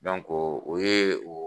o ye o